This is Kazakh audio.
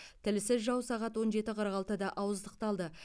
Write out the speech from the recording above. тілсіз жау сағат он жеті қырық алтыда ауыздықталды